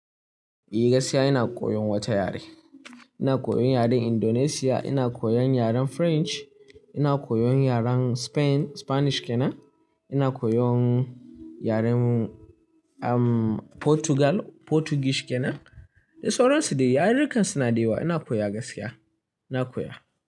Eh gaskiya ina koyon wata yare. Ina koyon yaren Indonesia, ina koyon yaren French, ina koyon yaren Spain, Spanish kena, ina koyon yaren, um, Portugal, Portuguese kena. Da sauransu dai, yarukan suna da yawa ina koya gaskiya, ina koya.